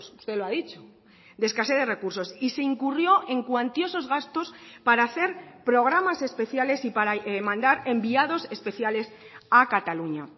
usted lo ha dicho de escasez de recursos y se incurrió en cuantiosos gastos para hacer programas especiales y para mandar enviados especiales a cataluña